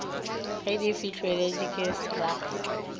ge di fihleletšwe ke srsa